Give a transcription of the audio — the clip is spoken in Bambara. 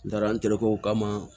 N taara n terikɛw kama